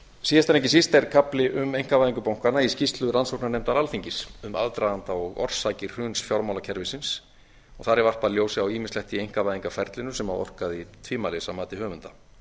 ekki síst er kafli um einkavæðingu bankanna í skýrslu rannsóknarnefndar alþingis um aðdraganda og orsakir hruns fjármálakerfisins þar er varpað ljósi á ýmislegt í einkavæðingarferlinu sem orkaði tvímælis að mati höfunda